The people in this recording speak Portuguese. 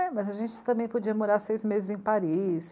É, mas a gente também podia morar seis meses em Paris.